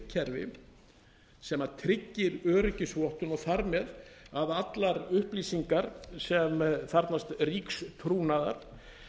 kerfi sem tryggir öryggisvottun og þar með að allar upplýsingar sem þarfnast ríks trúnaðar